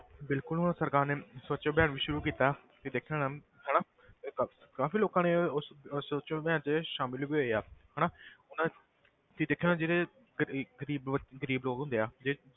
ਬਿਲਕੁਲ ਹੁਣ ਸਰਕਾਰ ਨੇ ਸਵੱਛ ਅਭਿਆਨ ਵੀ ਸ਼ੁਰੂ ਕੀਤਾ ਤੁਸੀਂ ਦੇਖਿਆ ਹੋਣਾ ਹਨਾ ਇਹ ਕ~ ਕਾਫ਼ੀ ਲੋਕਾਂ ਨੇ ਉਸ ਉਸ ਸਵੱਛ ਅਭਿਆਨ 'ਚ ਸ਼ਾਮਲ ਵੀ ਹੋਏ ਆ ਹਨਾ ਹੁਣ ਇਹ ਤੁਸੀਂ ਦੇਖਿਆ ਹੋਣਾ ਜਿਹੜੇ ਗ਼ਰੀ~ ਗ਼ਰੀਬ ਬ~ ਗ਼ਰੀਬ ਲੋਕ ਹੁੰਦੇ ਆ ਜਿ~